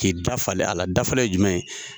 K'i dafalen a la, dafalen ye jumɛn ye ?